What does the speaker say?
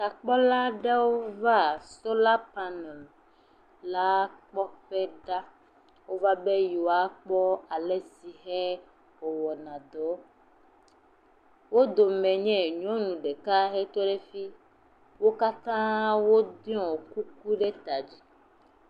Takpɔla aɖewo va solar panel la kpɔ ƒe ɖa. Wova be yewoa kpɔ alesi ke ewoa na dɔ. Wo dome nye nyɔnu ɖeka he tɔ ɖe fimi. Wo katã wò ɖɔ kuku ɖe ta dzi.